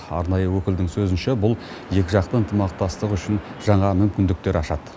арнайы өкілдің сөзінше бұл екіжақты ынтымақтастық үшін жаңа мүмкіндіктер ашады